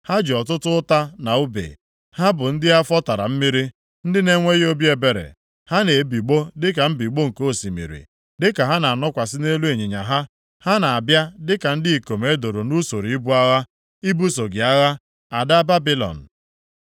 Ha ji ọtụtụ ụta na ùbe; ha bụ ndị afọ tara mmiri, ndị na-enweghị obi ebere. Ha na-ebigbọ dịka mbigbọ nke osimiri, dịka ha na-anọkwasị nʼelu ịnyịnya ha. Ha na-abịa dịka ndị ikom e doro nʼusoro ibu agha, ibuso gị agha, Ada Babilọn.